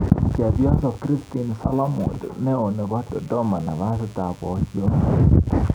Chepyoso Christine Solomon neo nepo Dodoma nafasit ap Poiyot